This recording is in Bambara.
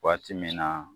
Waati min na